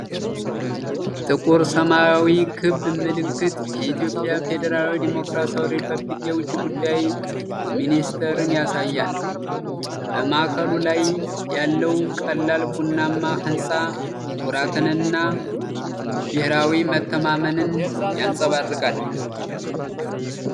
ጥቁር ሰማያዊ ክብ ምልክት የኢትዮጵያ ፌዴራላዊ ዲሞክራሲያዊ ሪፐብሊክ የውጭ ጉዳይ ሚኒስቴርን ያሳያል። በማዕከሉ ላይ ያለዉ ቀላል ቡናማ ህንፃ ኩራትንና ብሔራዊ መተማመንን ያንጸባርቃል።